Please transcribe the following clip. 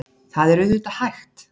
Það er auðvitað hægt.